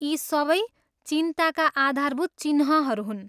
यी सबै चिन्ताका आधारभूत चिह्नहरू हुन्।